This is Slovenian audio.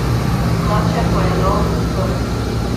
Drugače pa je lov odprt.